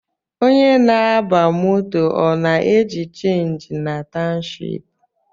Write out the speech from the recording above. Onye na-aba moto ọ na-eji chenji na townshipu?